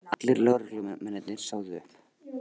Allir lögreglumennirnir sögðu upp